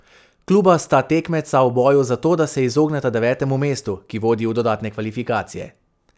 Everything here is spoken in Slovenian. Kluba sta tekmeca v boju za to, da se izogneta devetemu mestu, ki vodi v dodatne kvalifikacije.